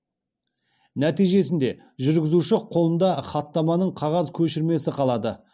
нәтижесінде жүргізуші қолында хаттаманың қағаз көшірмесі қалады